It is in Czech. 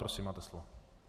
Prosím, máte slovo.